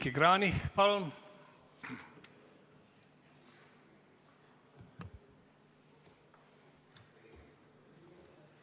Heiki Kranich, palun!